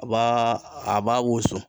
A b'a a b'a wusu.